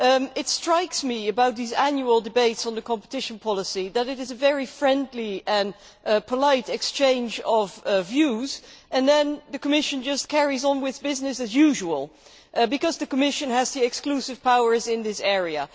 It strikes me about these annual debates on competition policy that there is a very friendly and polite exchange of views, and then the Commission just carries on with business as usual because the Commission has the exclusive powers in this area.